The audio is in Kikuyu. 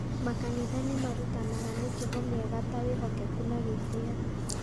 Makanitha nĩ marutanaga mĩtugo mĩega ta wĩhokeku na gĩtĩo.